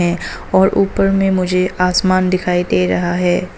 और ऊपर में मुझे आसमान दिखाई दे रहा है।